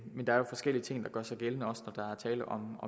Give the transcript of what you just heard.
der er jo forskellige ting der gør sig gældende også når der er tale om